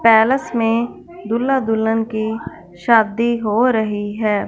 Palace में दूल्हा दुल्हन की शादी हो रही है।